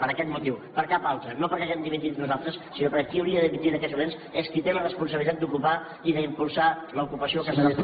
per aquest motiu per cap altre no perquè hàgim dimitit nosaltres sinó perquè qui hauria de dimitir en aquests moments és qui té la responsabilitat d’ocupar i d’impulsar l’ocupació a casa nostra